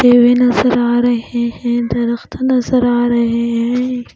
देवे नजर आ रहे हैं दरख्त नजर आ रहे है--.